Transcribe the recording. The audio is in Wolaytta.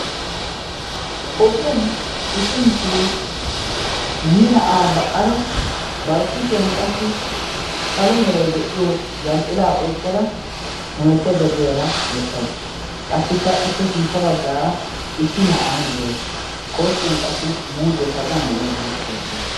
ogiyan issi mishiriyaa yii na'aa ba'ara bar kushiyan qassi salo meray de'iyo yanxxila oyqqada hemettaydda diyaara beettawusu qassikka i pe sintta baggaara issi na'ay de'ees kooskkiyan qassi muuzee kaquwan de'iyaagee beettees